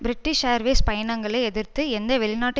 British Airways பயணங்களை எதிர்த்து எந்த வெளிநாட்டு